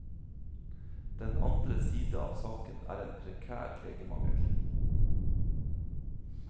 Den andre side av saken er en prekær legemangel.